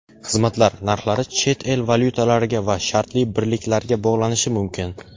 xizmatlar) narxlari chet el valyutalariga va shartli birliklarga bog‘lanishi mumkin.